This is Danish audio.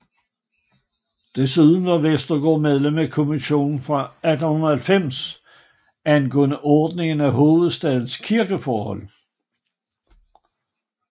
Desuden var Westergaard medlem af kommissionen af 1890 angående ordningen af hovedstadens kirkeforhold